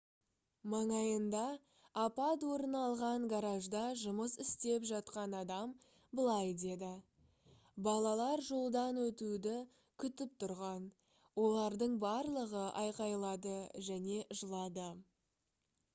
маңайында апат орын алған гаражда жұмыс істеп жатқан адам былай деді: «балалар жолдан өтуді күтіп тұрған олардың барлығы айқайлады және жылады»